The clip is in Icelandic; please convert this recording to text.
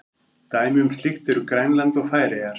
Dæmi um slíkt eru Grænland og Færeyjar.